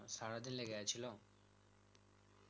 সারাদিন লেগে গেছিলো